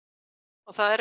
og það er